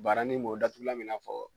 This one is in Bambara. Baranin mun o datugulan bɛ i n'a fɔ